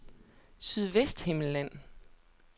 Sydvesthimmerland